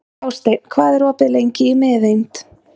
Hásteinn, hvað er opið lengi í Miðeind?